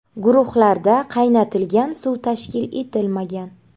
Guruhlarda qaynatilgan suv tashkil etilmagan.